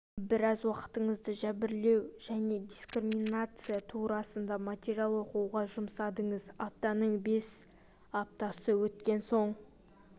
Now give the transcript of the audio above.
біраз уақытыңызды жәбірлеу және дискриминация турасында материал оқуға жұмсадыңыз аптаның бес аптасы өткен соң